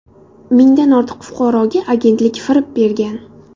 Mingdan ortiq fuqaroga agentlik firib bergan.